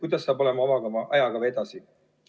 Milline saab olema edasine ajakava?